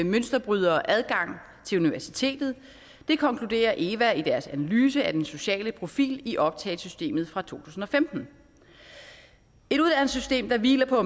mønsterbrydere adgang til universitetet det konkluderer eva i deres analyse af den sociale profil i optagesystemet fra to tusind og femten et uddannelsessystem der hviler på